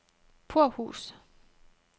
Purhus